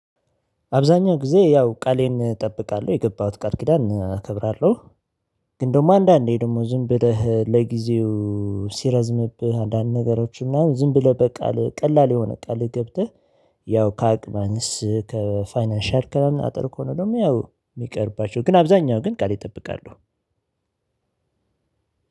አብዛኛው ጊዜ ያው ቃሌን እጠብቃለሁ የገባሁትን ቃል ኪዳን እከብራለሁ። ግን ደግሞ አንዳንዴ ደግሞ ዝም ብለህ ለጊዜው ሲረዝምብህ አንዳንድ ነገሮች ምናምን ዝም ብለህ በቃል ቀላል የሆነ ቃል ገብተህ ያው ከአቅም ማነስ ከፋይናንሻል ከሆነ ደግሞ ያው እሚቀርባቸው ግን አብዛኛው ግን ቃሌን እጠብቃለሁ።